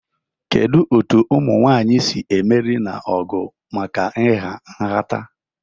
Kedu ka ụmụ nwanyị si emeri n'ọgụ maka ịha nhata?